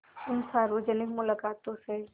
इन सार्वजनिक मुलाक़ातों से